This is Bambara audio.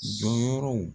Jɔyɔrɔw